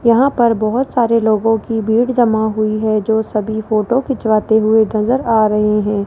यहां पर बहोत सारे लोगों की भीड़ जमा हुई है जो सभी फोटो खिंचवाते हुए नजर आ रहे हैं।